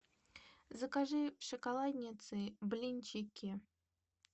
закажи в шоколаднице блинчики